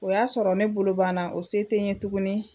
O y'a sɔrɔ ne bolo banna o se tɛ n ye tuguni